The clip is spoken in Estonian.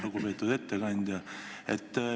Lugupeetud ettekandja!